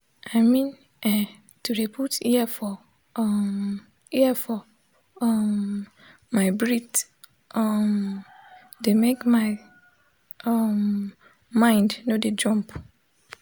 i mean[um]to de put ear for um ear for um my breath um de make my um mind nor de jump